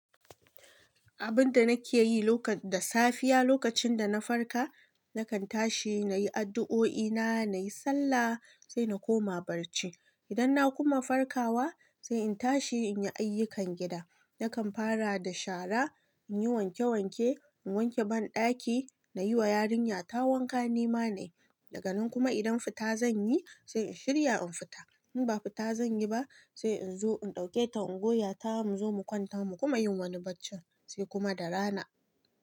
Abin da nake yi lokac da safiya, lokacin da na farka, na kan tashi na yi addu'o'i na, na yi sallah, sai na koma barci. Idan na kuma farkawa, sai in tashi in yi ayyukan gida. Na kan fara da shara, in yi wanke wanke, in wanke banɗaki, na yi wa yarinya ta wanka ni ma na yi. Daga nan kuma idan fita zan yi, sai in shirya in fita. In ba fita zan yi ba, sai in zo in ɗauke ta in goya ta mu zo mu kwanta mu kuma yin wani barci sai kuma da rana.